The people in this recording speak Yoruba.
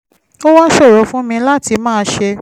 ó wá ṣòro fún mi láti máa ṣe